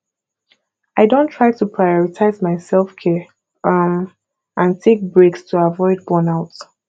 i don try to prioritize my selfcare um and take breaks to avoid burnout